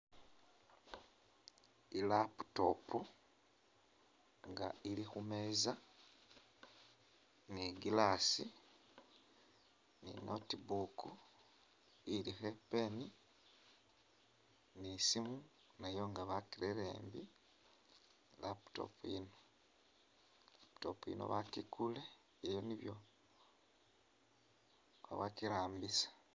I'laptop nga ili khu meeza ni i'glass ni i'notebook ilikho i'pen ni i'siimu nayo nga bakirere embi ni i'laptop yino. I'laptop yino bakikuule ili nibyo khabakirambisa.